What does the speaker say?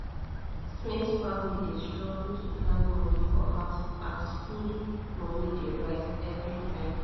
smith family dey struggle to plan money for house as food money dey rise every time